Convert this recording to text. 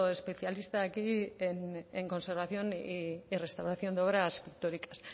especialista aquí en conservación y restauración de obra pictóricas